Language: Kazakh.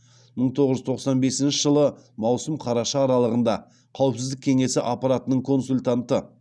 мың тоғыз жүз тоқсан бесінші жылы маусым қараша аралығында қауіпсіздік кеңесі аппаратының консультанты